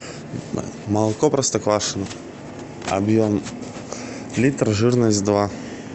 молоко простоквашино объем литр жирность два